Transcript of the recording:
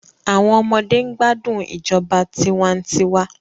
Àwọn ọmọdé ń gbádùn ìjọba tiwa-n-tiwa